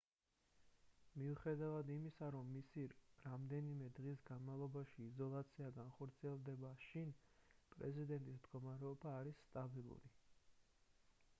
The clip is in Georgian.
მიუხედავად იმისა რომ მისი რამდენიმე დღის განმავლობაში იზოლაცია განხორციელდება შინ პრეზიდენტის მდგომარეობა არის სტაბილური